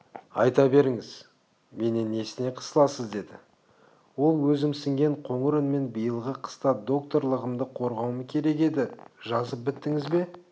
айта беріңіз менен несіне қысыласыз деді ол өзімсінген қоңыр үнмен биылғы қыста докторлығымды қорғауым керек еді жазып біттіңіз бе